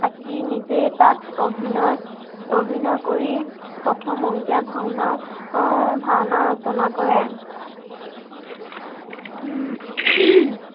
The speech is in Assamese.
থাকি নিজেই তাত অভিনয়, অভিনয় কৰি প্ৰথম অংকীয়া ভাওনাও আহ ভাওনাও ৰচনা কৰে।